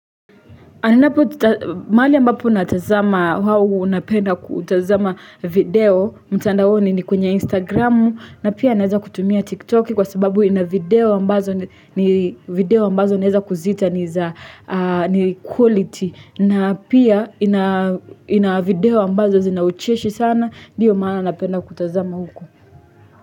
Anapo ta maali ambapo unatazama hau unapenda kutazama video mtandaoni ni kwenye instagramu na pia naeza kutumia tiktoki kwa sababu ina video ambazo ni video ambazo naeeza kuzita ni za ahh. Ni quality na pia ina ina video ambazo zinaucheshi sana ndiyo maana napenda kutazama huku.